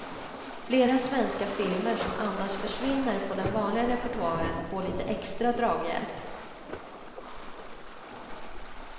Flera svenska filmer som annars försvinner på den vanliga repertoaren får lite extra draghjälp.